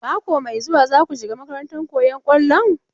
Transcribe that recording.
Mako mai zuwa za ku shiga makarantar koyon kwallon?